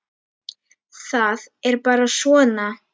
Það er bara svona!